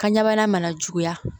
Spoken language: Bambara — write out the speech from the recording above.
Kan ɲana juguya